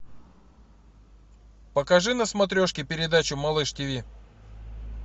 покажи на смотрешке передачу малыш тв